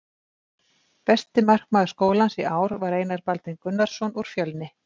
Besti markmaður skólans í ár var Einar Baldvin Gunnarsson úr Fjölnir.